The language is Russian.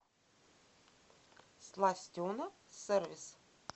сластена сервис